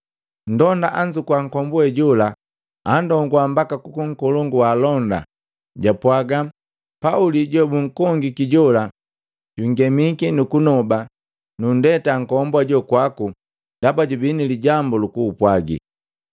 Nndonda anzukuwa nkombuwe jola, andonguwa mbaka kukunkolongu waalonda, japwaga, “Pauli jobunkongiki jola jungemiki nukunoba nundeta nkombu hajo kwaku ndaba jubi nilijambu lukugupwagi.”